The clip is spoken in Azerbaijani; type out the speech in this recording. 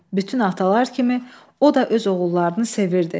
Bütün atalar kimi o da öz oğullarını sevirdi.